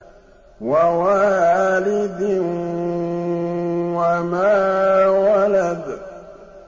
وَوَالِدٍ وَمَا وَلَدَ